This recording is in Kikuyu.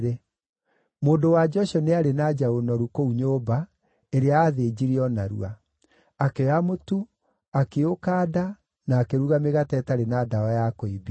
Mũndũ-wa-nja ũcio nĩ aarĩ na njaũ noru kũu nyũmba, ĩrĩa aathĩnjire o narua. Akĩoya mũtu, akĩũkanda na akĩruga mĩgate ĩtarĩ na ndawa ya kũimbia.